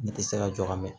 Ne tɛ se ka jɔ ka mɛn